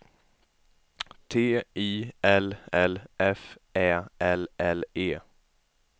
T I L L F Ä L L E